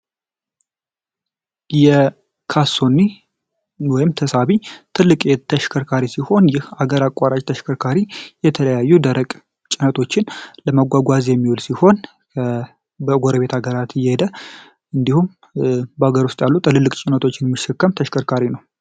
የካቶሊክ ወይም ተሳቢ ትልቅ የተሽከርካሪ ሲሆን ይህ አገራት ተሽከርካሪ የተለያዩ ደረቅ ጭነቶችን ለመጓጓዝ የሚል ሲሆን በጎረቤት አገራት የሄደ እንዲሁም በአገር ውስጥ ያሉት የሚሸከም ተሽከርካሪ ነው።